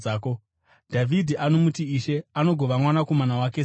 Dhavhidhi anomuti, ‘Ishe.’ Anogova mwanakomana wake seiko?”